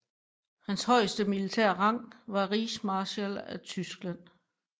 Hans højeste militære rang var rigsmarskal af Tyskland